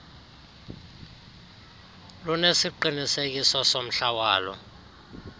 lunesiqinisekiso somhla wolo